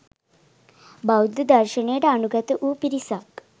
බෞද්ධ දර්ශනයට අනුගත වූ පිරිසක්